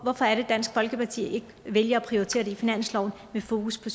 hvorfor er det at dansk folkeparti ikke vælger at prioritere det på finansloven med fokus på